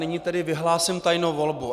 Nyní tedy vyhlásím tajnou volbu.